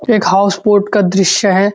एक houseboat का द्रिश्य है।